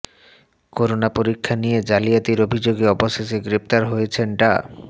corona পরীক্ষা নিয়ে জালিয়াতির অভিযোগে অবশেষে গ্রেফতার হয়েছেন ডা